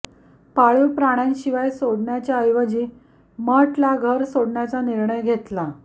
पाळीव प्राण्यांशिवाय सोडण्याच्या ऐवजी मटला घर सोडण्याचा निर्णय घेतला